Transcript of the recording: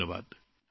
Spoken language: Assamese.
ধন্যবাদ